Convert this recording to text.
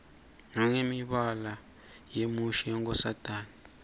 nangemibala yemushi yenkosatane